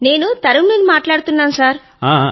నేను తరన్నుమ్ ని మాట్లాడుతున్నాను సర్